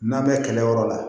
N'a bɛ kɛlɛyɔrɔ la